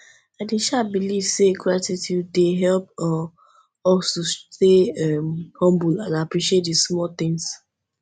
i dey um believe say gratitude dey help um us to stay um humble and appreciate di small things